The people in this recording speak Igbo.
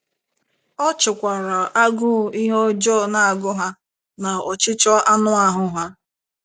Ọ chịkwara agụụ ihe ọjọọ na - agụ ha na ọchịchọ anụ ahụ́ ha.